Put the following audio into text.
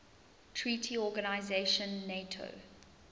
treaty organization nato